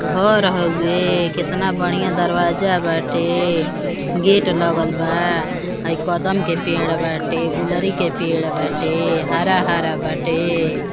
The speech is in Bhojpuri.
घर हवे। केतना बढ़िया दरवाजा बाटे। गेट लगल बा। हई कदम के पेड़ बाटे। गुलरी के पेड़ बाटे। हरा-हरा बाटे।